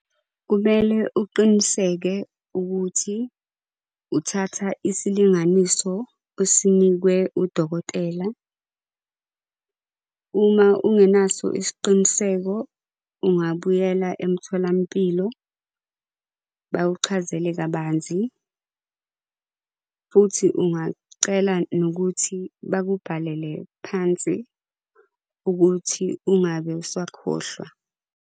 Kumele uqiniseke ukuthi, uthatha isilinganiso osinikwe udokotela. Uma ungenaso isiqiniseko, ungabuyela emtholampilo bakuchazele kabanzi. Futhi ungacela nokuthi bakubhalele phansi ukuthi ungabe usakhohlwa.